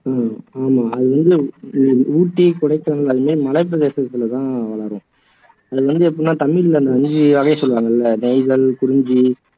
உம் ஆமா அது வந்து ஊட்டி கொடைக்கானல் இதுமாதிரி மலைப்பிரதேசத்திலதான் வளரும் அது வந்து எப்படினா தமிழ்ல ஐந்து சொல்லுவாங்க இல்லை நெய்தல் குறிஞ்சி